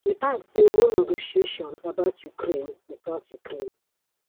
e add say no negotiation about ukraine witout ukraine